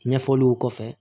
Ɲɛfɔliw kɔfɛ